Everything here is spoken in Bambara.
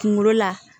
Kunkolo la